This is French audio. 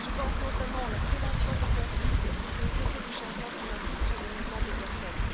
Je pense notamment à la prévention des conflits et aux effets du changement climatique sur les mouvements de personnes.